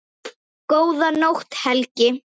Góða nótt, Helgi.